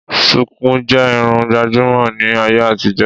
Sùkú jẹ́ Irun gbàjúmọ̀ ní ayé àtijó